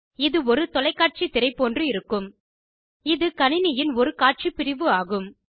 இது ஒரு தொலைக்காட்சி திரை போன்று இருக்கும் இது கணினியின் ஒரு காட்சி பிரிவு ஆகும்